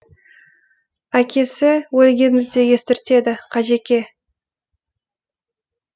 әкесі өлгенді де естіртеді қажеке